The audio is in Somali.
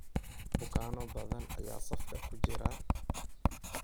Bukaanno badan ayaa safka ku jira.